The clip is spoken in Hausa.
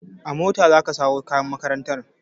A mota za ka sawo kayan makarantar!